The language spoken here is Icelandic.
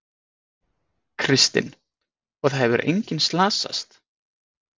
Kristinn: Og það hefur enginn slasast?